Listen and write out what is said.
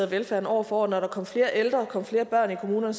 velfærden år for år når der kom flere ældre og der kom flere børn i kommunerne